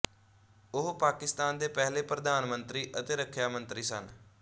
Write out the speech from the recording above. ਉਹ ਪਾਕਿਸਤਾਨ ਦੇ ਪਹਿਲੇ ਪ੍ਰਧਾਨਮੰਤਰੀ ਅਤੇ ਰੱਖਿਆ ਮੰਤਰੀ ਸਨ